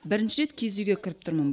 бірінші рет киіз үйге кіріп тұрмын